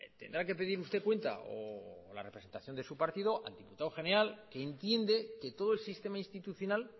tendrá que pedir usted cuenta o la representación de su partido al diputado general que entiende que todo el sistema institucional